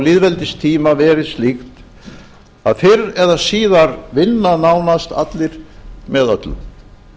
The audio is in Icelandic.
lýðveldistíma verið slíkt að fyrr eða síðar vinna nánast allir með öllum